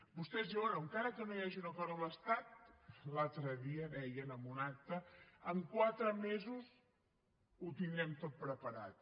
vostès diuen bé encara que no hi hagi un acord amb l’estat l’altre dia deien en un acte en quatre mesos ho tindrem tot preparat